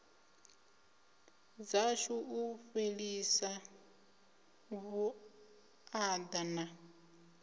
dzashu u fhelisa vhuaḓa na